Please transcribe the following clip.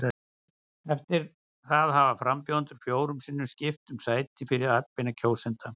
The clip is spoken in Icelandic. Eftir það hafa frambjóðendur fjórum sinnum skipt um sæti fyrir atbeina kjósenda.